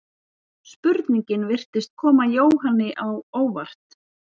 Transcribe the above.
Spurningin virtist koma Jóhanni á óvart.